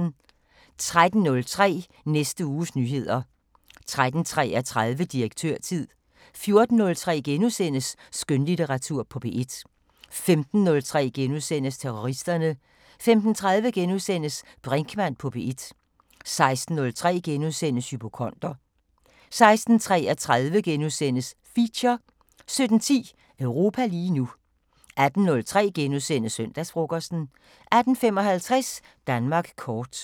13:03: Næste uges nyheder 13:33: Direktørtid 14:03: Skønlitteratur på P1 * 15:03: Terroristerne * 15:30: Brinkmann på P1 * 16:03: Hypokonder * 16:33: Feature 17:10: Europa lige nu 18:03: Søndagsfrokosten * 18:55: Danmark kort